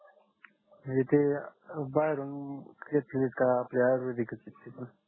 म्हणजे ते बाहेरून घेतले का का आपले आयुर्वेदीकच येते बस